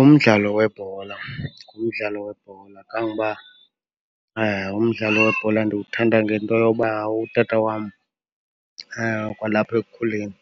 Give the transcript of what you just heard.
Umdlalo webhola, ngumdlalo webhola. Kangoba umdlalo webhola ndiwuthanda ngento yoba utata wam, kwalapha ekukhuleni,